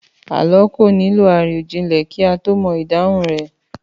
Àlọ́ kò nílò àròjinlẹ̀ ká tó mo ìdáhun rẹ̀.